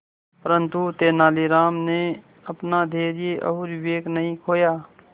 परंतु तेलानी राम ने अपना धैर्य और विवेक नहीं खोया